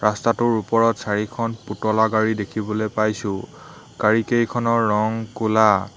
ৰাস্তাটোৰ ওপৰত চাৰিখন পুতলা গাড়ী দেখিবলৈ পাইছোঁ গাড়ীকেইখনৰ ৰং ক'লা।